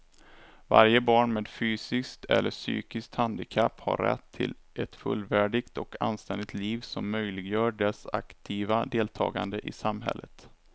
Varje barn med fysiskt eller psykiskt handikapp har rätt till ett fullvärdigt och anständigt liv som möjliggör dess aktiva deltagande i samhället.